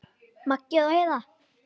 Maggi og Heiða.